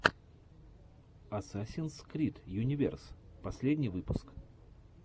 асасинс крид юниверс последний выпуск